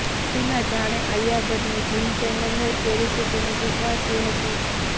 કેટરિના જાણે આલિયા ભટ્ટની gym trainer હોય તે રીતે તેને શીખવાડતી હતી